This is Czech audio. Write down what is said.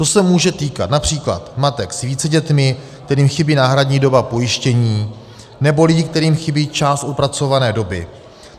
To se může týkat například matek s více dětmi, kterým chybí náhradní doba pojištění, nebo lidi, kterým chybí část odpracované doby.